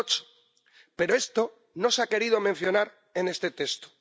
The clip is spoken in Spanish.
2008. Pero esto no se ha querido mencionar en este texto.